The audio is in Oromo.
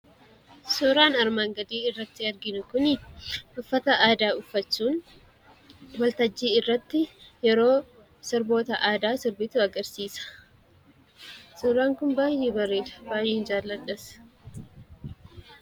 Suuraan armaan gadii irratti arginu kuni uffata aadaa uffachuun waltajjii irratti yeroo sirboota aadaa sirbitu agarsiisa. Suuraan kun baay'ee bareeda. baay'een jaaladhas.